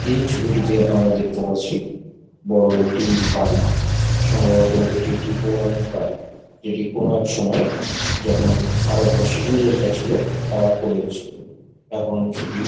এই ছবিটিতে আমরা দেখতে পারছি বড়ো একটি বাড়ি। সম্ভবত এটি একটি পৌরাণিক বাড়ি। এটি কোনো এক সময় যখন ভারতবর্ষে ইংরেজরা ছিল তারা করে গেছিলো। এখন সেটি--